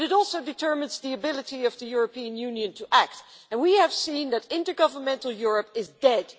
But it also determines the ability of the European Union to act, and we have seen that intergovernmental Europe is dead.